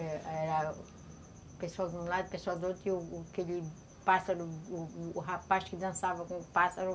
Era pessoas de um lado, pessoas do outro, e o o aquele pássaro, o rapaz que dançava com o pássaro